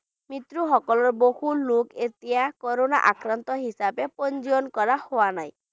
মৃত সকলৰ বহুলোক এতিয়া corona আক্ৰান্ত হিচাপে পঞ্জীয়ন কৰা হোৱা নাই।